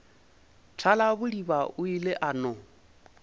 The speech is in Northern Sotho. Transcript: thalabodiba o ile a no